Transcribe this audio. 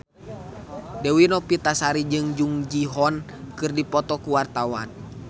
Dewi Novitasari jeung Jung Ji Hoon keur dipoto ku wartawan